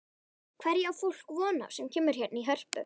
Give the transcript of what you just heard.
Hverju á fólk von á sem kemur hérna í Hörpu?